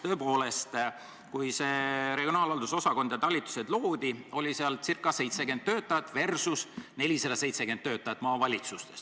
Tõepoolest, kui see regionaalhalduse osakond ja talitused loodi, oli seal circa 70 töötajat versus 470 töötajat maavalitsustes.